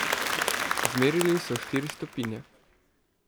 Izmerili so štiri stopinje.